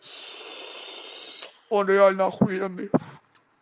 он реально ахуенный